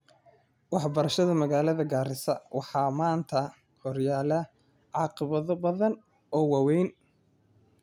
Waxbarashada magalada Garissa waxaa maanta horyaala caqabado badan oo waaweyn.